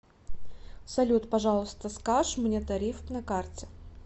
салют пожалуйста скаж мне тариф на карте